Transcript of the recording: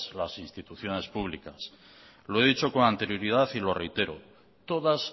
las instituciones públicas lo he dicho con anterioridad y lo reitero todas